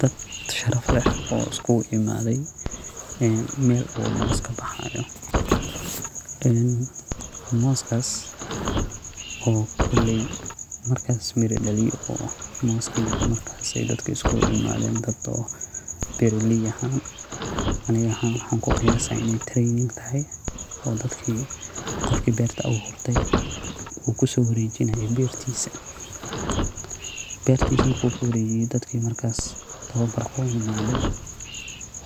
Dad sharaf leh oo iskuguimadey, een mel u moss kabaxayo, een mosskas, oo koley markas mira daliye, oo mosski markasi dadka iskulaimaden, dad oo beraley ahan, aniga ahan waxan kuqiyasa inay training taxay, oo dadki gofki berta awurtey uu kusowarejinayo bertisa, bertisa marku kuwarejiyo dadki markas tawabarka uimade,